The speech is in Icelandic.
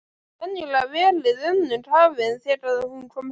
Venjulega verið önnum kafin þegar hún kom heim.